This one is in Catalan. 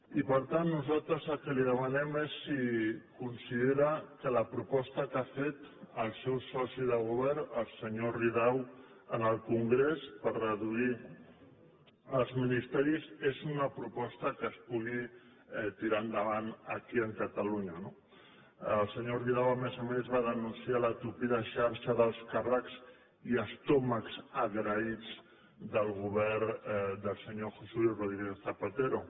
i per tant nosaltres el que li demanem és si considera que la proposta que ha fet el seu soci de govern el senyor ridao en el congrés per reduir els ministeris és una proposta que es pugui tirar endavant aquí a catalunya no el senyor ridao a més a més va denunciar la tupida xarxa d’alts càrrecs i estómacs agraïts del govern del senyor josé luis rodríguez zapatero